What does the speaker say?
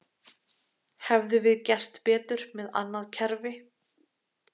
Hefðum við gert betur með annað kerfi?